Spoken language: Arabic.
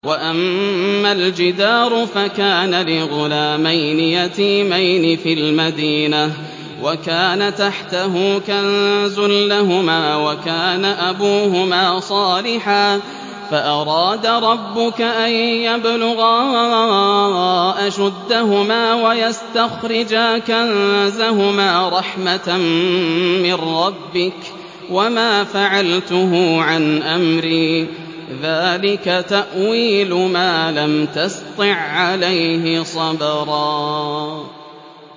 وَأَمَّا الْجِدَارُ فَكَانَ لِغُلَامَيْنِ يَتِيمَيْنِ فِي الْمَدِينَةِ وَكَانَ تَحْتَهُ كَنزٌ لَّهُمَا وَكَانَ أَبُوهُمَا صَالِحًا فَأَرَادَ رَبُّكَ أَن يَبْلُغَا أَشُدَّهُمَا وَيَسْتَخْرِجَا كَنزَهُمَا رَحْمَةً مِّن رَّبِّكَ ۚ وَمَا فَعَلْتُهُ عَنْ أَمْرِي ۚ ذَٰلِكَ تَأْوِيلُ مَا لَمْ تَسْطِع عَّلَيْهِ صَبْرًا